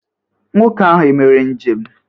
Nwoke ahụ emere njem?